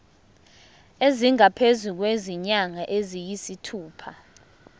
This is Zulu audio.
esingaphezu kwezinyanga eziyisithupha